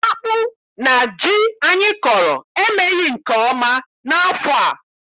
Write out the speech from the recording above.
Akpụ na ji anyị kọrọ emeghị nke ọma n'afọ a.